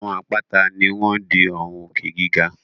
Àwọn àpáta ni wọ́n ń di àwọn òkè giga